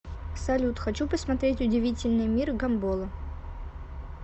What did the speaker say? салют хочу посмотреть удивительный мир гамбола